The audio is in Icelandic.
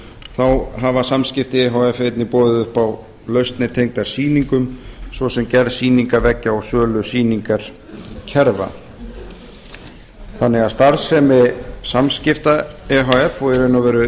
þá hafa samskipti e h f einnig boðið upp á lausnir tengdar sýningum svo sem gerð sýningarveggja og sölu sýningarkerfa þannig að starfsemi samskipta e h f og í raun og veru